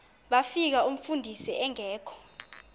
bafika umfundisi engekho